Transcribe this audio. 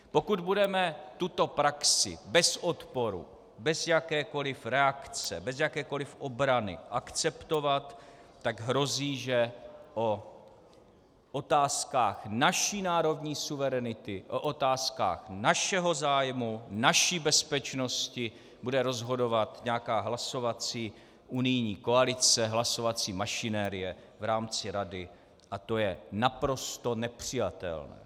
Pokud budeme tuto praxi bez odporu, bez jakékoliv reakce, bez jakékoliv obrany akceptovat, tak hrozí, že o otázkách naší národní suverenity, o otázkách našeho zájmu, naší bezpečnosti bude rozhodovat nějaká hlasovací unijní koalice, hlasovací mašinérie v rámci Rady, a to je naprosto nepřijatelné.